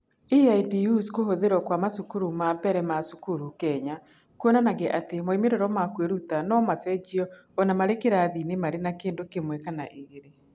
EIDU’s Kũhũthĩrwo kwa macukuru ma mbere ma cukuru Kenya kuonanagia atĩ moimĩrĩro ma kwĩruta no macenjio o na marĩ kĩrathi-inĩ marĩ na kĩndũ kĩmwe kana igĩrĩ.